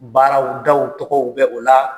Baaraw daw tɔgɔw bɛ o la